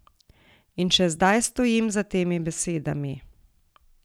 In še zdaj stojim za temi besedami.